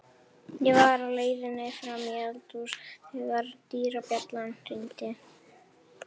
Ég var á leiðinni fram í eldhús þegar dyrabjallan hringdi.